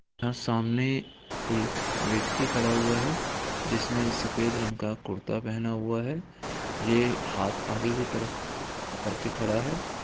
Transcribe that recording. यहाँ सामने एक व्यक्ति खड़ा हुआ है जिसने सफेद रंग का कुर्ता पहना हुआ है ये हाथ आगे की तरफ करके खड़ा है।